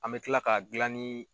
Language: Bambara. An bɛ tila ka gilan ni